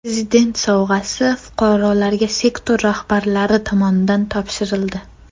Prezident sovg‘asi fuqarolarga sektor rahbarlari tomonidan topshirildi.